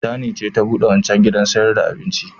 Tani ce ta buɗe wancan gidan sayar da abincin.